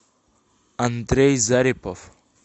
андрей зарипов